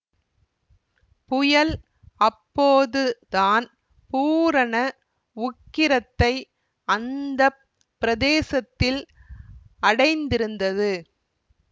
புயல் அப்போது தான் பூரண உக்கிரத்தை அந்த பிரதேசத்தில் அடைந்திருந்தது